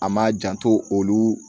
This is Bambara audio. An m'a janto olu